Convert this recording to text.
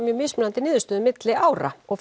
mjög mismunandi niðurstöðu milli ára og